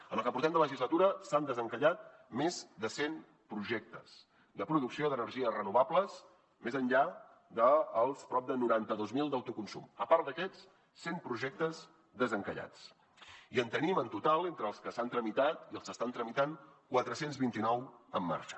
en el que portem de legislatura s’han desencallat més de cent projectes de producció d’energies renovables més enllà dels prop de noranta dos mil d’autoconsum a part d’aquests cent projectes desencallats i en tenim en total entre els que s’han tramitat i els que s’estan tramitant quatre cents i vint nou en marxa